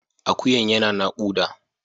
Akuyan yana nakuda.